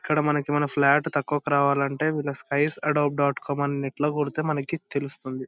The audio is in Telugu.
ఇక్కడ మనకి మన ఫ్లాట్ తక్కువకి రావాలంటే వేళ్ళ స్కైస్ ఎడోప్ డాట్ కం అని నెట్ లో కొడితే మనకి తెలుస్తుంది.